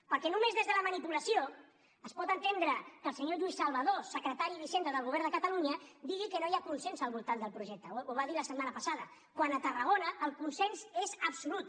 perquè només des de la manipulació es pot entendre que el senyor lluís salvadó secretari d’hisenda del govern de catalunya digui que no hi ha consens al voltant del projecte ho va dir la setmana passada quan a tarragona el consens és absolut